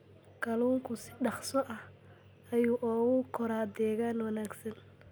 Kalluunku si dhakhso ah ayuu ugu koraa deegaan wanaagsan.